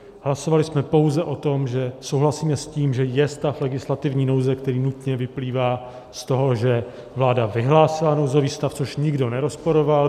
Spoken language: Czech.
Hlasovali jsme pouze o tom, že souhlasíme s tím, že je stav legislativní nouze, který nutně vyplývá z toho, že vláda vyhlásila nouzový stav, což nikdo nerozporoval.